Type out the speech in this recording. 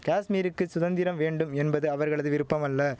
காஷ்மீருக்கு சுதந்திரம் வேண்டும் என்பது அவர்களது விருப்பமல்ல